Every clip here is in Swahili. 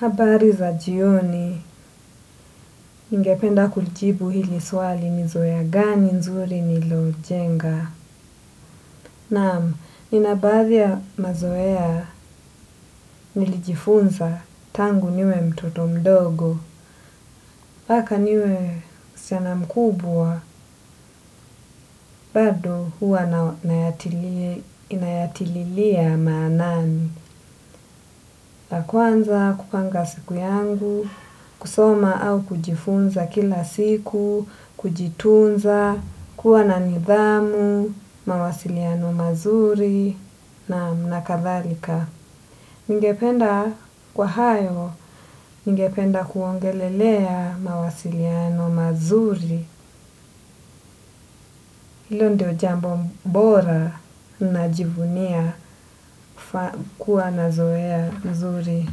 Habari za jioni, ningependa kulijibu hili swali ni zoea gani nzuri nilojenga. Naam, nina baadhi ya mazoea nilijifunza tangu niwe mtoto mdogo. Mpaka niwe msichana mkubwa, bado huwa nayatililia maanani. La kwanza kupanga siku yangu, kusoma au kujifunza kila siku, kujitunza, kuwa na nidhamu, mawasiliano mazuri, nam na kadhalika. Ningependa kwa hayo ningependa kuongelelea mawasiliano mazuri. Hilo ndio jambo bora na jivunia kuwa na zoea nzuri.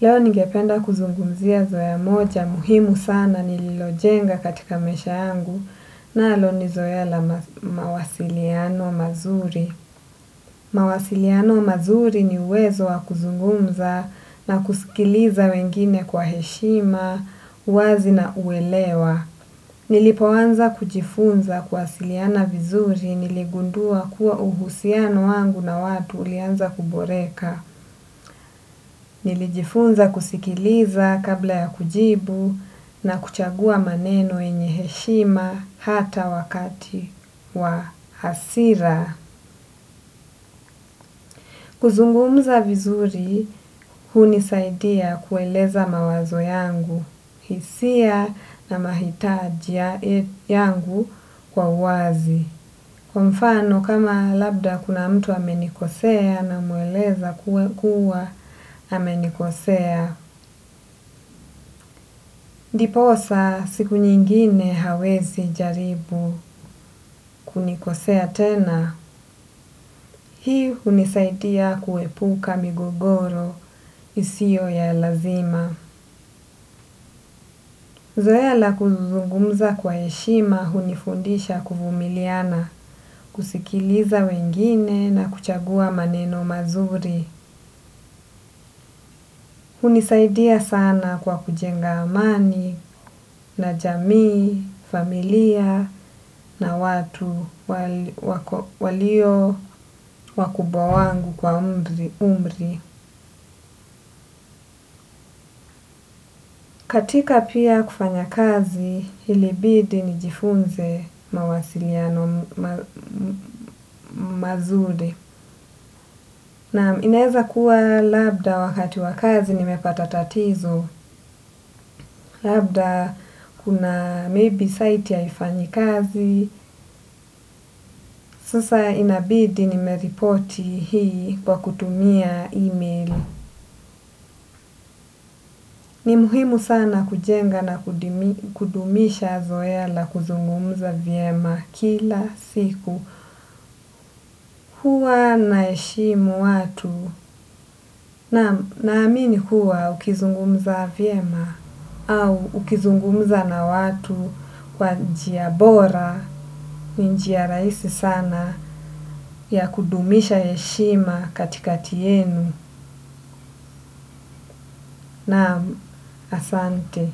Leo ningependa kuzungumzia zoea moja muhimu sana nililojenga katika maisha yangu nalo ni zoea la mawasiliano mazuri. Mawasiliano mazuri ni uwezo wa kuzungumza na kusikiliza wengine kwa heshima, wazi na uelewa. Nilipo anza kujifunza kuwasiliana vizuri niligundua kuwa uhusiano wangu na watu ulianza kuboreka. Nilijifunza kusikiliza kabla ya kujibu na kuchagua maneno yenye heshima hata wakati wa hasira. Kuzungumza vizuri, hunisaidia kueleza mawazo yangu, hisia na mahitaji yangu kwa wazi. Kwa mfano kama labda kama kuna mtu amenikosea namweleza kuwa amenikosea. Ndiposa siku nyingine hawezi jaribu kunikosea tena. Hii hunisaidia kuepuka migogoro isiyo ya lazima. Zoea la kuzungumza kwa heshima hunifundisha kuvumiliana, kusikiliza wengine na kuchagua maneno mazuri. Hunisaidia sana kwa kujenga amani na jamii, familia na watu walio wakubwa wangu kwa umri. Katika pia kufanya kazi ilibidi nijifunze mawasiliano mazuri na inaeza kuwa labda wakati wa kazi nimepata tatizo labda kuna maybe site haifanyi kazi sasa inabidi nimeripoti hii kwa kutumia email. Ni muhimu sana kujenga na kudumisha zoea la kuzungumza vyema kila siku huwa naheshimu watu naamini huwa ukizungumuza vyema au ukizungumuza na watu kwa njia bora njiya rahisi sana ya kudumisha heshima katikati yenu nam asante.